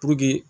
Puruke